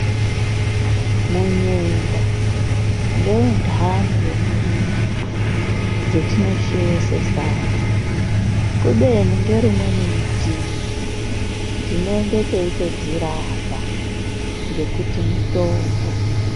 Munyemba ngeundani wemuriwo dzetinosheesa sadza kubeni ngerimweni ritivi tinenge teitodzirapa ngekuti mitombo.